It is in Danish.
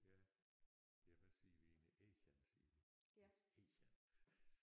Ja ja vi siger vi egentlig egern siger vi egern